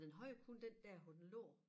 Men den havde kun den der hvor den lå